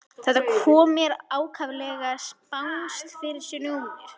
Þetta kom mér ákaflega spánskt fyrir sjónir.